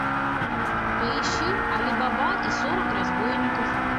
поищи али баба и сорок разбойников